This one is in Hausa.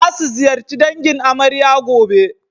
Za su ziyarci dangin amarya gobe.